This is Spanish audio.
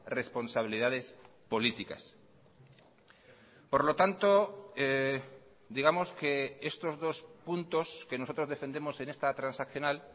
responsabilidades políticas por lo tanto digamos que estos dos puntos que nosotros defendemos en esta transaccional